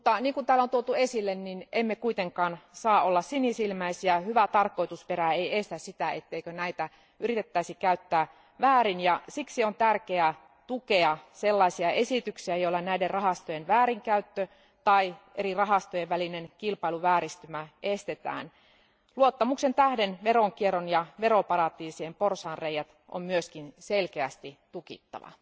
Kuten täällä on jo tuotu esille, emme saa olla sinisilmäisiä hyvä tarkoitusperä ei estä sitä, etteikö näitä yritettäisi käyttää väärin, ja siksi on tärkeää tukea sellaisia esityksiä, joilla näiden rahastojen väärinkäyttö tai eri rahastojen välinen kilpailuvääristymä estetään. Luottamuksen tähden veronkierron ja veroparatiisien porsaanreiät on myös selkeästi tukittava.